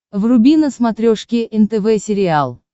вруби на смотрешке нтв сериал